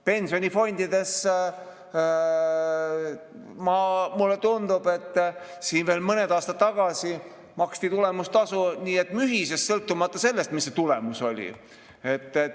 Pensionifondides, mulle tundub, veel mõned aastad tagasi maksti tulemustasu nii et mühises, sõltumata sellest, milline see tulemus oli.